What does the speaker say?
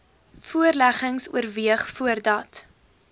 voorleggings oorweeg voordat